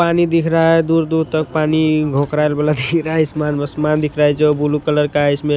पानी दिख रहा है दूर दूर तक पानी वाला दिख रहा है इसमान दिख रहा हैजो ब्लू कलर का है इसमें--